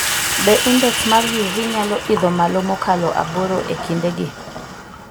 Be index mar UV nyalo idho malo mokalo aboro e kindegi?